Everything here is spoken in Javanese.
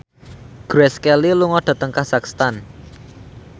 Grace Kelly lunga dhateng kazakhstan